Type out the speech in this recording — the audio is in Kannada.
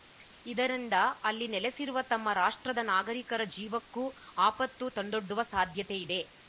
ಇದರಿಂದ ಅಲ್ಲಿ ನೆಲೆಸಿರುವ ತಮ್ಮ ರಾಷ್ಟ್ರದ ನಾಗರಿಕರ ಜೀವಕ್ಕೂ ಆಪತ್ತು ತಂದೊಡ್ಡುವ ಸಾಧ್ಯತೆಯಿದೆ